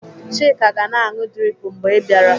Chika ga-na anụ drip mgbe ị bịara.